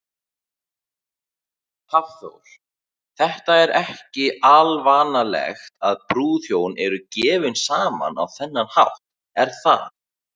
Hafþór: Þetta er ekki alvanalegt að brúðhjón eru gefin saman á þennan hátt, er það?